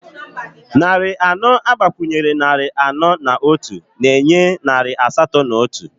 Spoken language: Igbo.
Narị anọ agbakwunyere na narị anọ na otu na-enye narị asatọ na otu